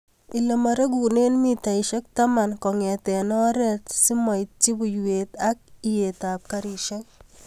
Ilemoregunen mitaisiek taman kong'eten oret simoityi buiwet ak iyetab karisiek.